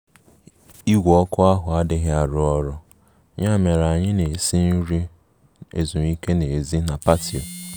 Igwe ọkụ ahụ adịghị arụ ọrụ, ya mere anyị na-esi nri ezumike n'èzí na patio